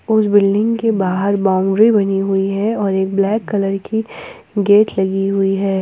कुछ बिल्डिंग के बाहर बाउंड्री बनी हुई है और एक ब्लैक कलर की गेट लगी हुई है।